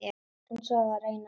En svo var raunar ekki.